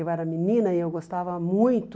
Eu era menina e eu gostava muito